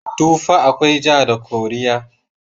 Tufa akwai ja da koriya.